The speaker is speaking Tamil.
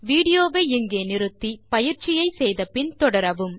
வீடியோ வை நிறுத்தி பயிற்சியை முடித்த பின் தொடரவும்